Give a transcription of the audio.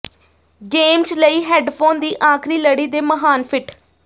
games ਲਈ headphone ਦੀ ਆਖਰੀ ਲੜੀ ਦੇ ਮਹਾਨ ਫਿੱਟ